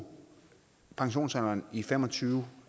pensionsalderen i fem og tyve